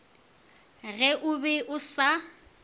ge o be o sa